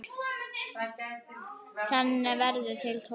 Þannig verða til Tólfur.